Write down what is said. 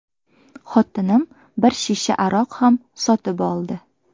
Xotinim bir shisha aroq ham sotib oldi.